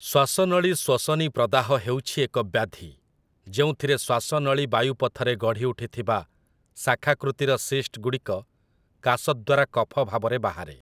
ଶ୍ଵାସନଳୀଶ୍ଵସନୀ ପ୍ରଦାହ ହେଉଛି ଏକ ବ୍ୟାଧି ଯେଉଁଥିରେ ଶ୍ୱାସନଳୀ ବାୟୁପଥରେ ଗଢ଼ିଉଠିଥିବା ଶାଖାକୃତିର ସିସ୍ଟ ଗୁଡ଼ିକ କାଶ ଦ୍ଵାରା କଫ ଭାବରେ ବାହାରେ ।